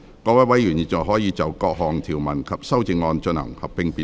各位委員現在可以就各項條文及修正案，進行合併辯論。